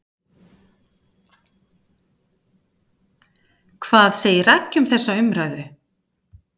Hvað segir Raggi um þessa umræðu?